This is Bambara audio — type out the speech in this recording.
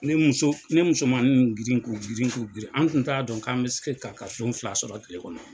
Ne muso n ye musomannin ninnu girin k'u girin k'u girin an tun t'a dɔn k'an bɛ se ka den fila sɔrɔ tile kɔnɔ.